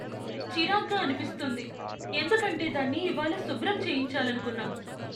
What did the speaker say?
చిరాగ్గా అనిపిస్తుంది ఎందుకంటే దాన్ని ఇవాళ శుభ్రం చేయించాలనుకున్నా.